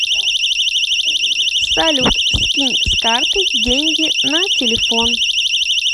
салют скинь с карты деньги на телефон